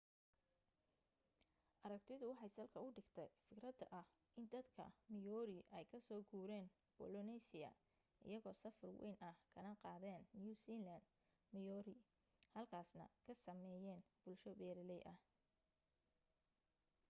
aragtidu waxay salka u dhigtay fikradda ah in dadka maori ay ka so guureen polynesia iyaga safar wayn ah kana qaadeen new zealand moriori halkaasna ka sameeyeen bulsho beeralay ah